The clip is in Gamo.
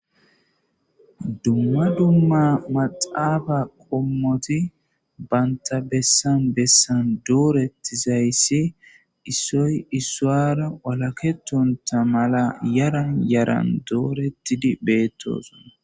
dumma dumma maxafa qommoti banta bessan bessan doorettizayssi issoy issuwara walaketonta mala yaran yaran doorettidi bettos